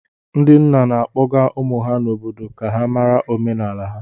Ndị nna na-akpọga ụmụ ha n'obodo ka ha mara omenala ha